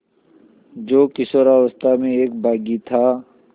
जो किशोरावस्था में एक बाग़ी था